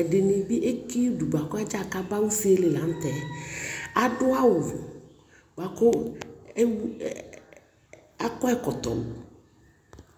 edini bi eki udu boako adzakaba usi li lantɛ ado alo boako akɔ ɛkɔtɔ